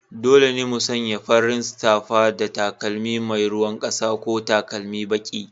Dole ne mu sanya farin safa da takalmi mai ruwan ƙasa ko takalmi baki.